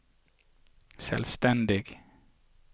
selvstendig